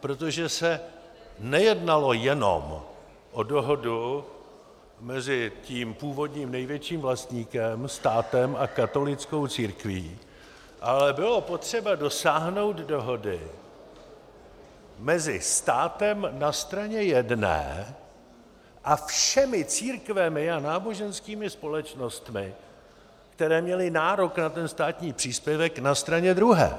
protože se nejednalo jenom o dohodu mezi tím původním největším vlastníkem - státem - a katolickou církví, ale bylo potřeba dosáhnout dohody mezi státem na straně jedné a všemi církvemi a náboženskými společnostmi, které měly nárok na ten státní příspěvek, na straně druhé.